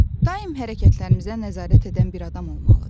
Daim hərəkətlərimizə nəzarət edən bir adam olmalıdır.